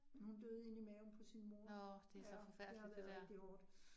Men hun døde inde i maven på sin mor, ja, det har været rigtig hårdt